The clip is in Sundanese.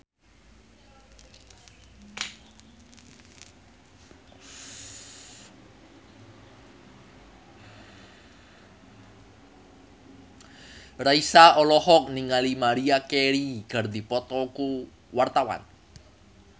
Raisa olohok ningali Maria Carey keur diwawancara